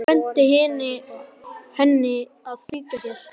Birkir benti henni að fylgja sér.